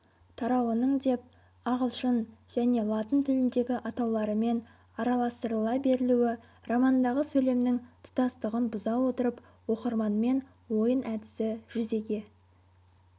тарауының деп ағылшын және латын тіліндегі атауларымен араластырыла берілуі романдағы сөйлемнің тұтастығын бұза отырып оқырманмен ойын әдісі жүзеге